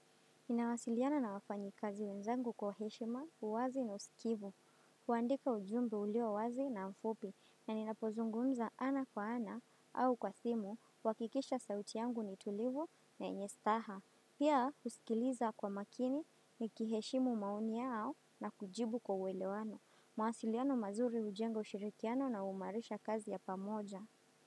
Inawasiliana na wafanyi kazi wenzangu kwa heshima, uwazi na usikivu. Huandika ujumbe ulio wazi na mfupi na ninapozungunza ana kwa ana au kwa simu kuhakikisha sauti yangu nitulivu na nyenye staha. Pia usikiliza kwa makini ni kiheshimu mauni yao na kujibu kwa uwelewano. Mawasiliano mazuri hujenga ushirikiano na uimarisha kazi ya pamoja.